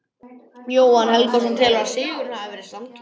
Jóhann Helgason telur að sigurinn hafi verið sanngjarn.